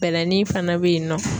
Bɛlɛnin fana bɛ yen nɔ.